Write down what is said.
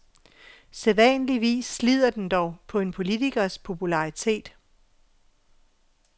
Sædvanligvis slider den dog på en politikers popularitet.